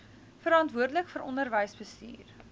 verantwoordelik vir onderwysbestuur